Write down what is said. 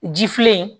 Ji filɛ